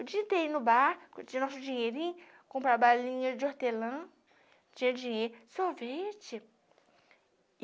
O dia inteiro ir no barco, tinha nosso dinheirinho, comprar balinha de hortelã, tinha dinheiro, sorvete.